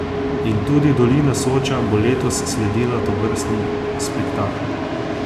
In tudi Dolina Soča bo letos sledila tovrstnim spektaklom.